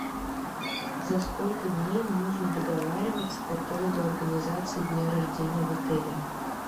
за сколько дней нужно договариваться по поводу организации дня рождения в отеле